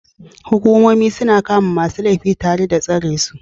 Hukumomi suna kama masu laifin tare da tsare su